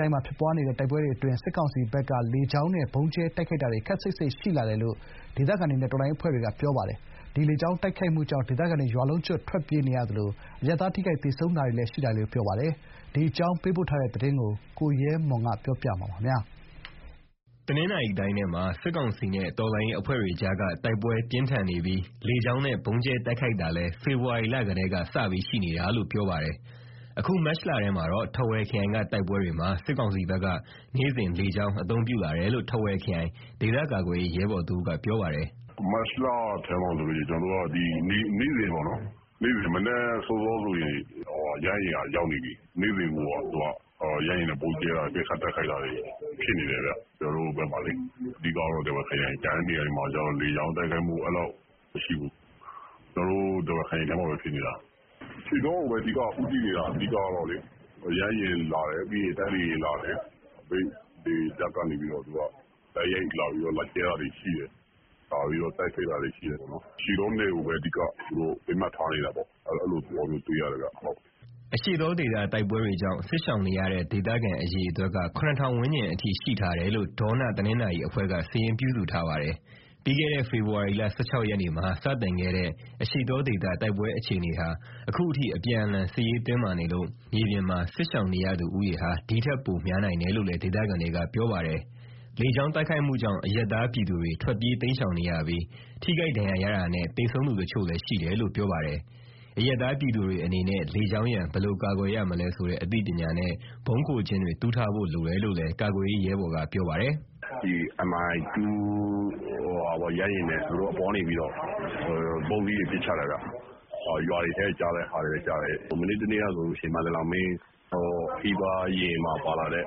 တိုင်းမှာ ဖြစ်ပွားနေတဲ့ တိုက်ပွဲတွေအတွင်း စစ်ကောင်စီဘက်က လေကြောင်းနဲ့ ဗုံးကြဲတိုက်ခိုက်တာ ခပ်စိပ်စိပ်ရှိလာတယ်လို့ ဒေသခံတွေနဲ့ တော်လှန်ရေးအဖွဲ့တွေက ပြောပါတယ်။ ဒီလေကြောင်း တိုက်ခိုက်မှုကြောင့် ဒေသခံတွေ ရွာလုံးကျွတ် ထွက်ပြေးနေရသလို၊ အရပ်သားထိခိုက် သေဆုံးတာတွေလည်း ရှိလာတယ်လို့ ပြောပါတယ်။ ဒီအကြောင်း ပေးပို့ထားတဲ့သတင်းကို ကိုရဲမွန် ပြောပြမှာပါ။ တနင်္သာရီတိုင်းထဲမှာ စစ်ကောင်စီနဲ့ တော်လှန်ရေးအဖွဲ့တွေကြား တိုက်ပွဲပြင်းထန်နေပြီး၊ လေကြောင်းနဲ့ ဗုံးကြဲတိုက်ခိုက်တာလည်း ဖေဖော်ဝါရီလကတည်းက စပြီးရှိနေတာလို့ ပြောပါတယ်။ အခု မတ်လထဲမှာတော့ ထားဝယ်ခရိုင်က တိုက်ပွဲတွေမှာ စစ်ကောင်စီဘက်က နေ့စဉ်လေကြောင်း အသုံးပြုလာတယ်လို့ ထားဝယ်ခရိုင် ဒေသကာကွယ်ရေး ရဲဘော်တဦးက ပြောပါတယ်။ "မတ်လထဲမှာဆိုရင် နေ့စဉ်ပေါ့နော်၊ မနက်စောစောဆိုရင် ရဟတ်ယာဉ်က ရောက်နေပြီ။ နေ့စဉ်ကို ရဟတ်ယာဉ်နဲ့ ဗုံးကြဲတိုက်ခိုက်တာတွေ ဖြစ်နေတယ်ဗျ။ အဓိကတော့ ထားဝယ်ခရိုင်မှာပေါ့။ ကျန်တဲ့နေရာမှာက လေကြောင်းတိုက်ခိုက်မှုက အဲဒီလောက် မရှိဘူး။ ကျနော်တို့ ထားဝယ်ခရိုင်ထဲမှာပဲ ဖြစ်နေတာ။ အရှေ့တောကိုပဲ အဓိကဦးတည်နေတာ။ ရဟတ်ယာဉ်လာတယ်၊ ပြီးရင် တိုက်လေယာဉ်လာတယ်။ မြိတ်လေတပ်ကနေ တိုက်ရိုက်လာကြဲတာတွေ ရှိတယ်။ လာပြီးတော့ တိုက်ခိုက်တာတွေ ရှိတယ်။ အရှေ့တောနယ်ကိုပဲ သူတို့အဓိက ပစ်မှတ်ထားနေတာပေါ့။ အဲဒီလိုသဘောမျိုး တွေ့ရတယ်ဗျ။" အရှေ့တောဒေသ တိုက်ပွဲတွေကြောင့် စစ်ရှောင်နေရတဲ့ ဒေသခံအရေအတွက်က ၇,၀၀၀ ဝန်းကျင်အထိ ရှိထားတယ်လို့ ဒေါနတနင်္သာရီအဖွဲ့က စာရင်းပြုစုထားပါတယ်။ ပြီးခဲ့တဲ့ ဖေဖော်ဝါရီလ ၁၆ ရက်နေ့မှာ စတင်ခဲ့တဲ့ အရှေ့တောဒေသ တိုက်ပွဲအခြေအနေဟာ ဒီကနေ့အထိ အပြန်အလှန် စစ်ရေးတင်းမာနေလို့ မြေပြင်မှာ စစ်ရှောင်နေရသူဦးရေဟာ ဒီထက်ပိုများနိုင်တယ်လို့လည်း ဒေသခံတွေက ပြောပါတယ်။ လေကြောင်းတိုက်ခိုက်မှုကြောင့် အရပ်သားပြည်သူတွေ ထွက်ပြေးတိမ်းရှောင်နေရပြီး၊ ထိခိုက်ဒဏ်ရာရတာနဲ့ သေဆုံးသူတချို့လည်း ရှိတယ်လို့ ပြောပါတယ်။ အရပ်သားပြည်သူတွေ အနေနဲ့ လေကြောင်းရန် ဘယ်လိုကာကွယ်ရမလဲဆိုတဲ့ အသိပညာနဲ့ ဗုံးခိုကျင်းတွေ တူးထားဖို့ လိုတယ်လို့လည်း ကာကွယ်ရေးရဲဘော်က ပြောပါတယ်။ "Mi-2 ရဟတ်ယာဉ်နဲ့ သူတို့အပေါ်က နေပြီးတော့ ဗုံးသီးတွေ ပစ်ချတယ်ဗျ။ ရွာတွေထဲ ကျတဲ့ဟာတွေလည်း ကျတယ်။ မနေ့တနေ့ကဆို ခရီးသွားယာဉ်မှာပါလာတဲ့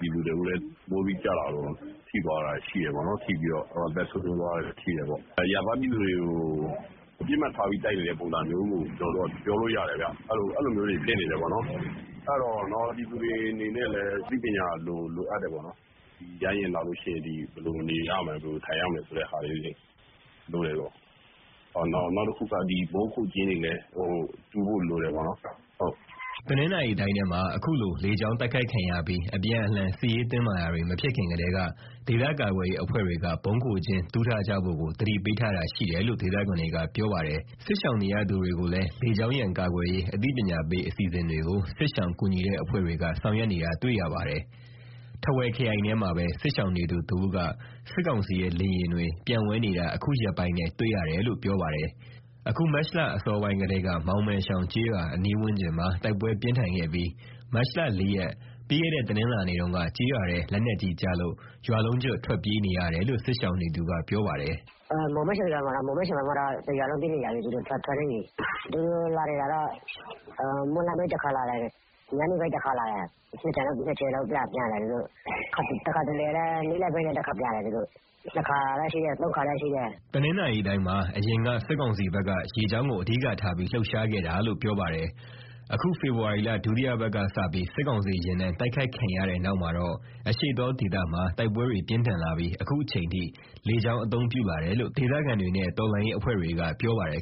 ပြည်သူတဦးလည်း ဗုံးသီးကျတာထိပြီးတော့ အသက်ဆုံးရှုံးသွားတယ်။ အရပ်သားပြည်သူတွေကို ပစ်မှတ်ထားပြီး တိုက်နေတဲ့ပုံစံမျိုးလို့ ပြောလို့ရတယ်ဗျ။ အဲလိုတွေဖြစ်နေတော့ ပြည်သူတွေအနေနဲ့လည်း အသိပညာလိုအပ်တယ်ပေါ့။ ရဟတ်ယာဉ်လာရင် ဘယ်လိုနေထိုင်ရမလဲဆိုတာ သိဖို့လိုတယ်။ နောက်တခုက ဗုံးခိုကျင်းတွေလည်း တူးဖို့လိုတယ်ပေါ့နော်။" တနင်္သာရီတိုင်းထဲမှာ အခုလို လေကြောင်းတိုက်ခိုက်ခံရပြီး အပြန်အလှန် စစ်ရေးတင်းမာတာတွေ မဖြစ်ခင်ကတည်းက ဒေသကာကွယ်ရေး အဖွဲ့တွေက ဗုံးခိုကျင်းတူးထားကြဖို့ကို သတိပေးထားတာရှိတယ်လို့ ဒေသခံတွေက ပြောပါတယ်။ စစ်ရှောင်နေရ သူတွေကိုလည်း လေကြောင်းရန် ကာကွယ်ရေး အသိပညာပေး အစီအစဉ်တွေကို စစ်ရှောင်ကူညီတဲ့ အဖွဲ့တွေက ဆောင်ရွက်နေတာ တွေ့ရပါတယ်။ ထားဝယ်ခရိုင်ထဲမှာပဲ စစ်ရှောင်နေသူတဦးက စစ်ကောင်စီရဲ့ လေယာဉ်တွေ ပျံဝဲနေတာ အခုရက်ပိုင်းထဲ တွေ့ရတယ်လို့ ပြောပါတယ်။ အခု မတ်လအစောပိုင်းကတည်းက မောင်မယ်ရှောင်ကျေးရွာ အနီးဝန်းကျင်မှာ တိုက်ပွဲပြင်းထန်ခဲ့ပြီး၊ မတ်လ ၄ ရက် ပြီးခဲ့တဲ့ တနင်္လာနေ့တုန်းက ကျေးရွာထဲ လက်နက်ကြီးကျလို့ ရွာလုံးကျွတ် ထွက်ပြေးနေကြတယ်လို့ စစ်ရှောင်နေသူက ပြောပါတယ်။ "မောင်မယ်ရှောင်ရွာမှာတော့ တရွာလုံး ထွက်ပြေးနေရပြီ။ သူတို့ ရဟတ်ယာဉ်တွေက မွန်းလွဲပိုင်း တခါလာတယ်။ ညနေပိုင်း တခါလာတယ်။ နှစ်ကြိမ်လောက် ပျံတယ်။ တခါတလေလည်း နေ့လည်ပိုင်းလည်း တခါပျံတယ်။ တနေ့ကို နှစ်ခါပျံတာလည်း ရှိတယ်၊ သုံးခါပျံတာလည်း ရှိတယ်။" တနင်္သာရီတိုင်းမှာ အရင်က စစ်ကောင်စီဘက်က ရေကြောင်းကို အဓိကထားပြီး လှုပ်ရှားခဲ့တာလို့ ပြောပါတယ်။ အခု ဖေဖော်ဝါရီလ ဒုတိယပတ်ကစပြီး စစ်ကောင်စီယာဉ်တန်း တိုက်ခိုက်ခံရတဲ့ နောက်မှာတော့ အရှေ့တောဒေသမှာ တိုက်ပွဲတွေပြင်းထန်လာပြီး အခုအချိန်ထိ လေကြောင်းအသုံးပြုလာတယ်လို့ ဒေသခံတွေနဲ့ တော်လှန်ရေးအဖွဲ့တွေက ပြောပါတယ်